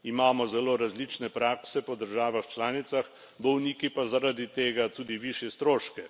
Imamo zelo različne prakse po državah članicah, bolniki pa zaradi tega tudi višje stroške.